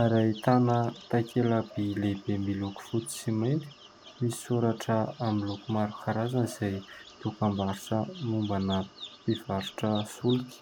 ary ahitana takelam-by lehibe miloko fotsy sy mainty misy soratra miloko maro karazana izay dokam-barotra mombana mpivarotra solika.